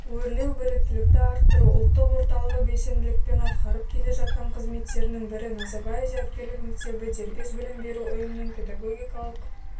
өрлеубіліктілікті арттыру ұлттық орталығыбелсенділікпен атқарып келе жатқан қызметтерінің бірі назарбаев зияткерлік мектебідербес білім беру ұйымының педагогикалық